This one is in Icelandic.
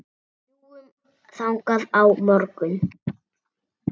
Við fljúgum þangað á morgun.